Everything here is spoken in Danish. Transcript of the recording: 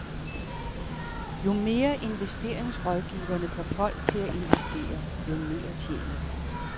Jo mere, investeringsrådgiverne får folk til at investere, jo mere tjener de.